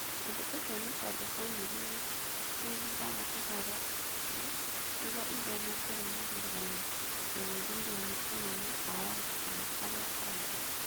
Ũndũ ũcio nĩ tondũ famĩlĩ nĩ ciĩhithaga ũhoro ũcio nĩguo itheme kũrũmĩrĩrũo na gũthuthuria nĩ anene a watho kana arĩa angĩ.